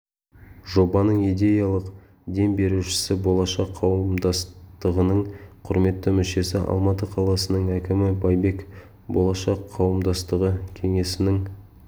жобаның идеялық дем берушісі болашақ қауымдастығының құрметті мүшесі алматы қаласының әкімі байбек болашақ қауымдастығы кеңесінің